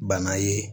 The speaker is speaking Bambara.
Bana ye